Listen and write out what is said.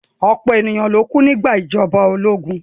Ọ̀pọ̀lọ̀pọ̀ ènìyàn kú nígbà ìjọba ológun